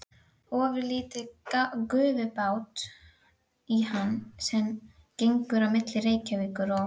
Gagnvart verndara mínum er ég síkvik einsog eftirgefanlegt hold.